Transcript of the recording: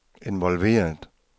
involveret